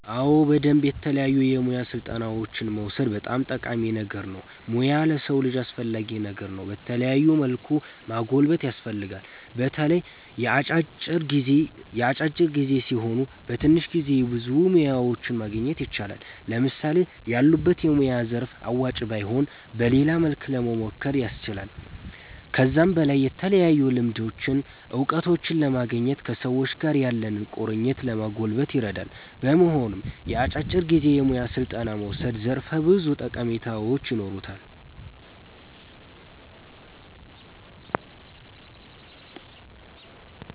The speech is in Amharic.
አዎ በደምብ የተለያዩ የሙያ ስልጠናዎችን መዉሰድ በጣም ጠቃሚ ነገር ነዉ ሙያ ለሰዉ ልጅ አስፈላጊ ነገር ነዉ በተለያዩ መልኩ ማጎልበት ያስፈልጋል። በተለይ የአጫጭር ጊዜ ሲሆኑ በትንሽ ጊዜ ብዙ ሙያዎችን ማግኘት ይቻላል። ለምሳሌ ያሉበት የሙያ ዘርፍ አዋጭ ባይሆን በሌላ መልኩ ለሞሞከር ያስችላል። ከዛም በላይ የተለያዩ ልምዶችን እዉቀቶችን ለማግኘት ከሰዎች ጋር ያለንን ቁርኝት ለማጎልበት ይረዳል። በመሆኑም የአጫጭር ጊዜ የሙያ ስልጠና መዉሰድ ዘርፈ ብዙ ጠቀሜታዎች ይኖሩታል